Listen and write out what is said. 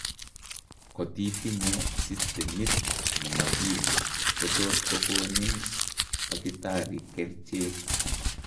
Kotitinye systemit nemakim kotot kokonin takitari kercheek